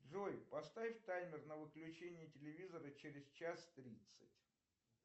джой поставь таймер на выключение телевизора через час тридцать